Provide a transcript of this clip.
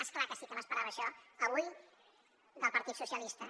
és clar que sí que m’esperava això avui del partit dels socialistes